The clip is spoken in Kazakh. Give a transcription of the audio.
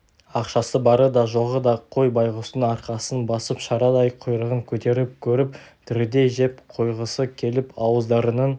ақшасы бары да жоғы да қой байғұстың арқасын басып шарадай құйрығын көтеріп көріп тірідей жеп қойғысы келіп ауыздарының